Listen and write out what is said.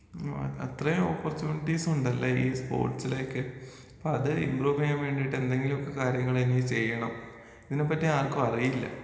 ആ അത്രേം ഒപ്പോർചുനീറ്റ്സ് ഉണ്ടല്ലെ ഈ സ്പോർട്സിലൊക്കെ അപ്പത് ഇമ്പ്രൂവ് ചെയ്യാനായിട്ട് എന്തെങ്കിലൊക്കെ കാര്യങ്ങളെനിക്ക് ചെയ്യണം ഇതിനെ പറ്റി ആർക്കും അറീല്ല.